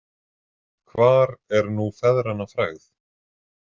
Hvar er nú feðranna frægð?